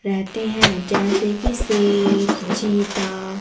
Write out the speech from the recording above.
रेहते हैं जैसे की शेर चीता।